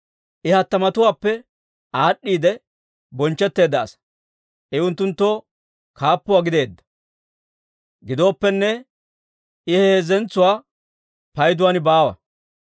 I hattamatuwaappe aad'd'iide bonchchetteedda asaa; I unttunttoo kaappuwaa gideedda. Gidooppenne, I he heezzatuwaa payduwaan baawa.